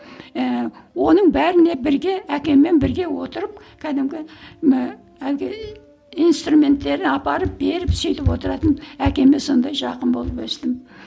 ііі оның бәріне бірге әкеммен бірге отырып кәдімгі ііі әлгі инструменттерін апарып беріп сөйтіп отыратын әкеме сондай жақын болып өстім